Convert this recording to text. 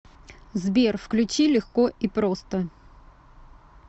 сбер включи легко и просто